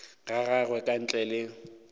ga gagwe ka ntle le